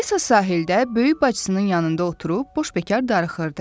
Alisa sahildə böyük bacısının yanında oturub boş-bekar darıxırdı.